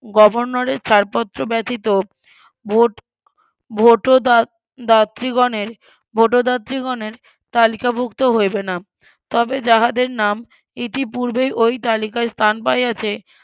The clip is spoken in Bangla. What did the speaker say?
গভর্নরের ছাড়পত্র ব্যাতিত ভোট ভোটদা দাত্রীগণের ভোটদাত্রিগনের তালিকাভুক্ত হইবে না তবে যাহাদের নাম ইতিপূর্বেই ওই তালিকায় স্থান পাইয়াছে